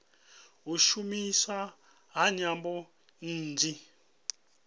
u shumiswa ha nyambo nnzhi